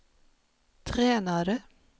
tränare